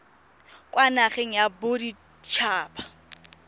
kwa nageng ya bodit haba